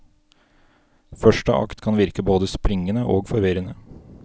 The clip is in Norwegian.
Første akt kan virke både springende og forvirrende.